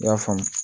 I y'a faamu